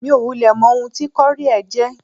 Mi ò wulẹ̀ mọ ohun tí kọ́ríẹ̀ jẹ́.